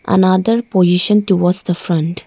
another position towards the front.